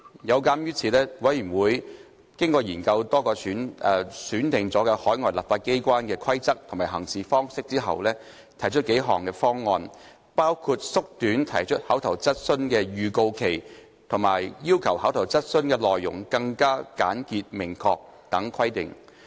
有鑒於此，委員會經過研究多個選定海外立法機關的規則及行事方式後，提出數項方案，包括縮短提出口頭質詢的預告期及要求口頭質詢內容更為簡潔明確等規定。